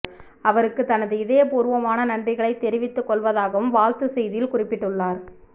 அவருக்கு தனது இதயப் பூர்வமான நன்றிகளை தெரிவித்துக் கொள்வதாகவும் வாழ்த்துச் செய்தியில் குறிப்பிட்டுள்ளார்